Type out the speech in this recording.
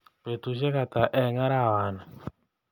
Betushek hata eng arawani